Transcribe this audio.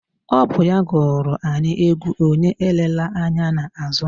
Ọ bụ ya gụrụ anyị égwú onye elela ányá n'àzụ́